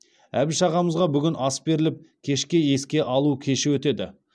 әбіш ағамызға бүгін ас беріліп кешке еске алу кеші өтеді